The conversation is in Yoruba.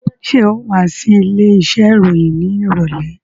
Ṣé ò wá sí ilé iṣẹ́ ìròyìn ní ìrọ̀lẹ́?